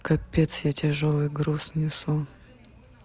капец я тяжёлый груз несу